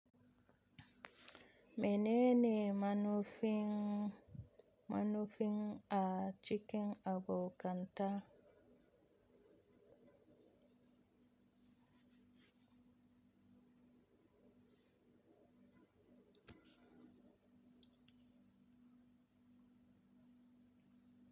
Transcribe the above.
Mene ne manofin, manofin a cikin abokanta.